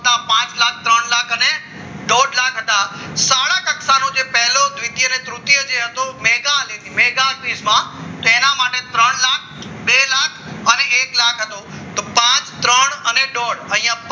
એક લાખ પચાસ હજાર હતા શાળા કક્ષાનો જે પહેલો દ્વિતીય અને તૃતીય હતો મેઘા અને mega quiz માં તેના માટે ત્રણ લાખ બે લાખ અને એક લાખ હતો તો પાંચ ત્રણ અને દોઢ